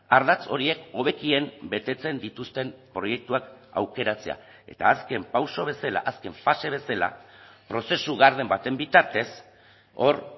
ardatz horiek hobekien betetzen dituzten proiektuak aukeratzea eta azken pauso bezala azken fase bezala prozesu garden baten bitartez hor